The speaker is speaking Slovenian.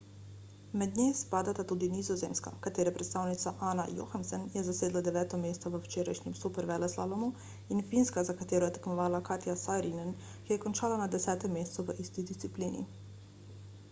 mednje spadata tudi nizozemska katere predstavnica anna jochemsen je zasedla deveto mesto v včerajšnjem superveleslalomu in finska za katero je tekmovala katja saarinen ki je končala na desetem mestu v isti disciplini